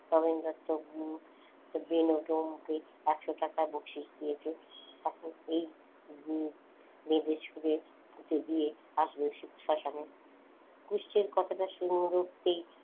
নগেন দত্ত বুড়ো বেনু ডোমকে একশ টাকা বকশিশ দিয়েছে এখন এই শ্মশানে কুষ্ঠের কথাটা শুনে উঠতেই,